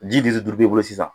Ji litiri duuru b'i bolo sisan.